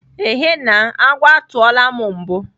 Ehe na, agwọ atụọla m mbu.